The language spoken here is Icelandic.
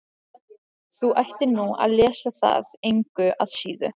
Þú ættir nú að lesa það engu að síður.